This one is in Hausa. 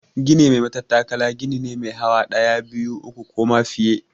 Gini mai matattakala gini ne mai hawa ɗaya, biyu, uku ko ma fiye.